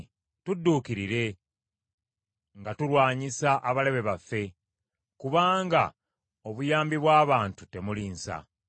Tudduukirire nga tulwanyisa abalabe baffe, kubanga obuyambi bw’abantu temuli nsa.